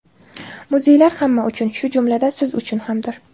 Muzeylar hamma uchun, shu jumladan siz uchun hamdir.